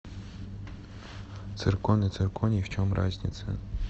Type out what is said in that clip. циркон и цирконий в чем разница